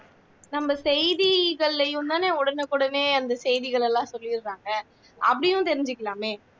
நம்ம செய்தி இதழிலேயும்தானே உடனுக்குடனே அந்த செய்திகள் எல்லாம் சொல்லிடறாங்க அப்படியும் தெரிஞ்சிக்கலாமே